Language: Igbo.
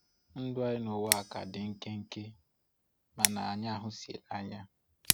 Ndụ anyị nụwa a ka dị nkenke mana anyị ahụsiela anya.